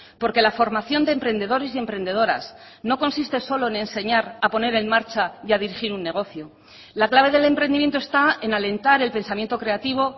porque la formación de emprendedores y emprendedoras no consiste solo en enseñar a poner en marcha y a dirigir un negocio la clave del emprendimiento esta en alentar el pensamiento creativo